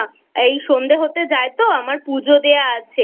এই সন্ধে হতে যায় তো আমার পুজো দেওয়া আছে।